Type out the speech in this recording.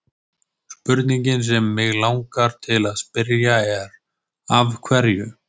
Spurningin sem mig langar til að spyrja er: Af hverju?